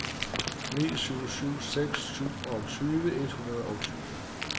ni syv syv seks syvogtyve et hundrede og tyve